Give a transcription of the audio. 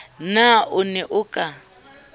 na o ne o ka